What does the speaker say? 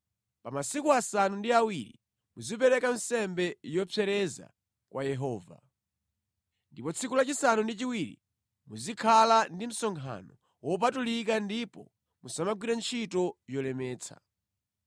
Pa masiku asanu ndi awiri muzipereka nsembe yopsereza kwa Yehova. Ndipo tsiku lachisanu ndi chiwiri muzikhala ndi msonkhano wopatulika ndipo musamagwire ntchito yolemetsa.’ ”